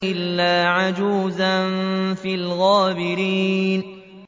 إِلَّا عَجُوزًا فِي الْغَابِرِينَ